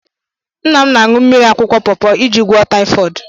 Nna m na-aṅụ mmiri akwụkwọ pọọpọ iji gwụọ taịfọd.